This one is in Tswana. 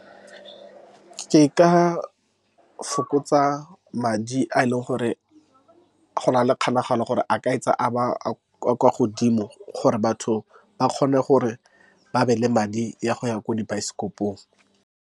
Ke ka fokotsa madi a e leng gore gona le kgonagalo gore a ka a kwa godimo, gore batho ba kgone gore ba be le madi a go ya ko dibaesekopong.